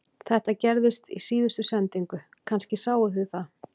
Þetta gerðist í síðustu sendingu, kannski sáuð þið það